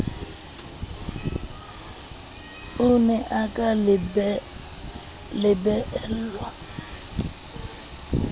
o ne a ka bellaellwa